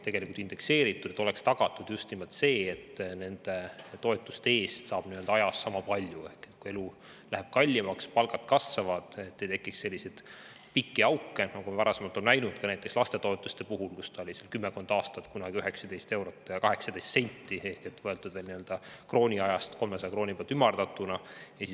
Peaks olema tagatud just nimelt see, et nende toetuste eest saab ajas sama palju ehk kui elu läheb kallimaks, palgad kasvavad, siis ei tekiks selliseid pikki auke, nagu me varem oleme näinud näiteks lastetoetuse puhul, mis oli kümmekond aastat 19 eurot 18 senti, sest see summa oli võetud veel krooniajast, 300 krooni pealt ümardatuna.